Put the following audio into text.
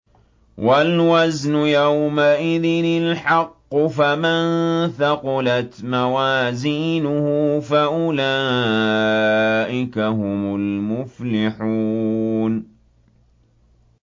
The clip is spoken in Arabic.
وَالْوَزْنُ يَوْمَئِذٍ الْحَقُّ ۚ فَمَن ثَقُلَتْ مَوَازِينُهُ فَأُولَٰئِكَ هُمُ الْمُفْلِحُونَ